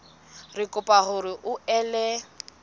re kopa hore o ele